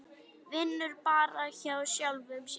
Vinnur bara hjá sjálfum sér.